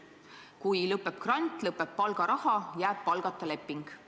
Kui lõpeb grant, lõpeb ka palgaraha, jääb palgata leping.